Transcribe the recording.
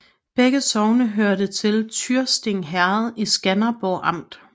Begge sogne hørte til Tyrsting Herred i Skanderborg Amt